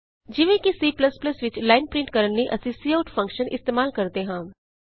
ਜਿਵੇਂਕਿ C ਵਿਚ line print ਕਰਨ ਲਈ ਅਸੀਂ ਸੀਆਉਟ ਕਾਊਟਲਟਲਟ ਫੰਕਸ਼ਨ ਫੰਕਸ਼ਨ ਇਸਤੇਮਾਲ ਕਰਦੇ ਹਾਂ